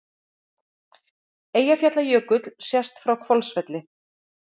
Eyjafjallajökull sést frá Hvolsvelli.